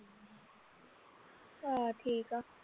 ਘਰ ਠੀਕ ਆ